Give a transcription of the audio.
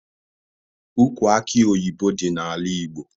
Ukwu akị oyibo dị n'ala Igbo